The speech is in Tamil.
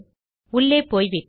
உள்ளே போய்விட்டேன்